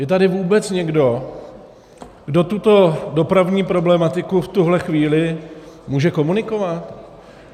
Je tady vůbec někdo, kdo tuto dopravní problematiku v tuhle chvíli může komunikovat?